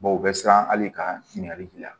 u bɛ siran ali ka ɲininkali k'i la